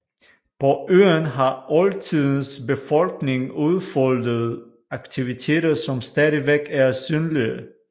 På øen har oldtidens befolkning udfoldet aktiviteter som stadigvæk er synlige